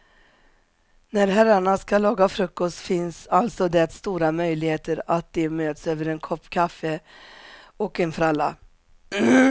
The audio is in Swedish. När herrarna ska laga frukost finns alltså det stora möjligheter att de möts över en kopp kaffe och en fralla.